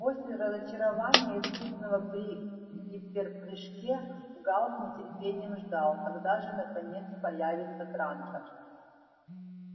после разочарования испытанного при гиперпрыжке гаал с нетерпением ждал когда же наконец появится трантор